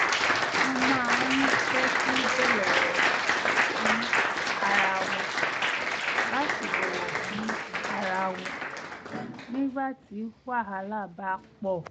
wọ́n máa ń tẹ́tí bẹ̀lẹ̀jẹ́ sí ara wọn láti bọ̀wọ̀ fún ara wọn nígbà tí wàhálà bá pọ̀